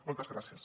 moltes gràcies